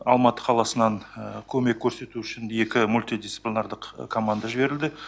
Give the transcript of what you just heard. алматы қаласынан көмек көрсету үшін екі мультидисциплинарлық команда жіберілді